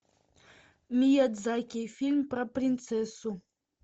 миядзаки фильм про принцессу